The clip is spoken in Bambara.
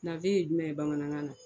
ye jumɛn ye bamanankan na?